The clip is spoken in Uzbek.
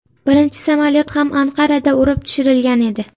Birinchi samolyot ham Anqarada urib tushirilgan edi.